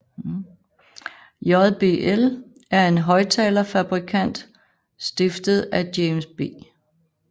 JBL er en højttalerfabrikant stiftet af James B